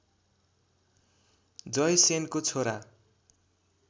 जयसेनको छोरा